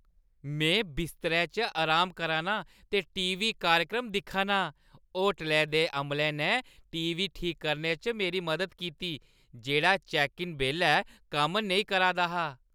में बिस्तरै च अराम करा नां ते टी. वी. कार्यक्रम दिक्खा नां। होटलै दे अमले ने टी. वी. ठीक करने च मेरी मदद कीती जेह्‌ड़ा चैक्क-इन बेल्लै कम्म नेईं करा दा हा।